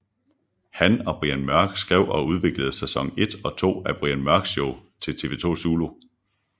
Han og Brian Mørk skrev og udviklede sæson 1 og 2 af Brian Mørk Show til TV2 Zulu